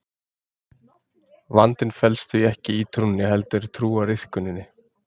Vandinn felst því ekki í trúnni heldur í trúariðkuninni.